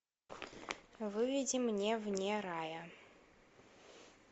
выведи мне вне рая